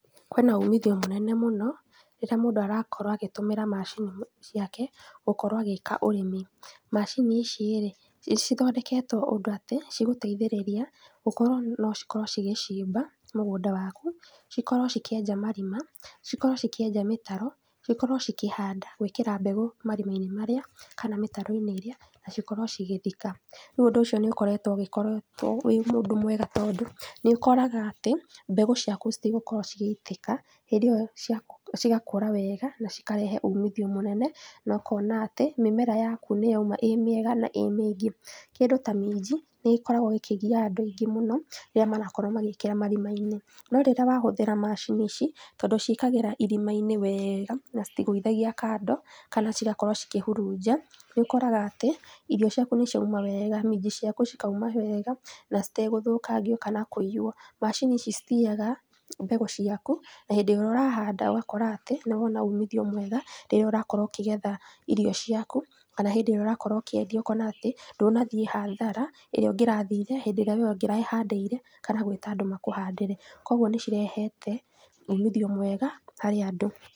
Kwĩna umithio mũnene mũno rĩrĩa mũndũ arakorwo agĩtũmĩra macini ciake gũkorwo agĩka ũrĩmi, maciini icirĩ, nĩcithondeketwo ũndũ atĩ cigũteithĩrĩria gũkorwo nocikorwo cigĩcimba mũgũnda waku, cikorwo cikĩenja marima, cikorwo cikĩenja mĩtaro, cikorwo cikĩhanda gwĩkĩra mbegũ marima-inĩ marĩa, kana mtaro-inĩ ĩrĩa na cikorwo cigĩthika. Ríu ũndũ ũci nĩũgĩkoretwo ũkoretwo wĩ ũndũ mwega tondũ nĩũkoraga atĩ, mbegũ ciaku citigũkorwo cigĩitĩka rĩrĩa cia ciakũra wega na ciarehe umithio mũnene, nokona atĩ, mĩmera yaku nĩyauma ĩmĩega na ĩ mĩingĩ. Kĩndũ ta minji, nĩgĩkoragwpo gĩkĩgia andũ aingĩ mũno rĩrĩa marakorwo magĩkĩra marima-inĩ. No rĩrĩa wahũthĩra macini ici, tondũ ciĩkagĩra marima-inĩ wega na citigũithagia kando kana cigakorwo cikĩhurunja, ũkoraga atĩ, irio ciaku nĩciauma wega minji ciaku cikauma wega na citegũthũkangio kana kũiywo. Macini ici citiyaga mbegũ ciaku na hĩndĩ ĩrĩa ũrahanda ũgakora atĩ nĩwona umithio mwega rĩrĩa ũrakorwo ũkĩgetha irio ciaku, kana rĩrĩa ũrakorwo ũkĩendia ũkona atĩ, ndunathiĩ hathara ĩrĩa ũngĩrathire hĩndĩ ĩrĩa we ũngĩrehandĩire kana gwĩta andũ makũhandĩre, koguo nĩcirehete umithio mwega harĩ andũ.